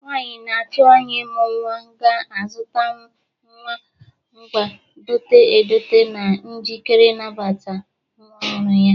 Nwaanyị na-atụ anya ịmụ nnwa ga-azụta ngwa nwa dote edote na njikeri ịnabata nwa ọhụrụ ya.